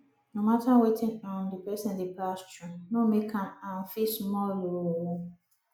no mata wetin um di person dey pass thru no mek am um feel small ooo